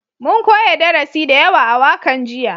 Mun koya darasi da yawa a wakan jiya